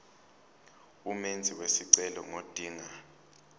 umenzi wesicelo ngodinga